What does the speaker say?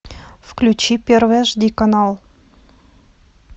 включи первый аш ди канал